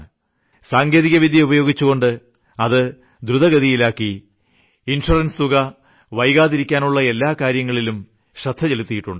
technology ഉപയോഗിച്ചുകൊണ്ട് അത് ദ്രുതഗതിയിലാക്കി ഇൻഷുറൻസ് തുക വൈകാതിരിക്കാനുള്ള എല്ലാ കാര്യങ്ങളിലും ശ്രദ്ധ ചെലുത്തിയിട്ടുണ്ട്